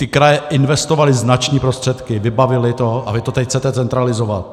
Ty kraje investovaly značné prostředky, vybavily to, a vy to teď chcete centralizovat.